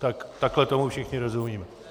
Tak takhle tomu všichni rozumíme.